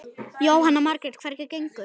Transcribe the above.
Jóhanna Margrét: Hvernig gengur?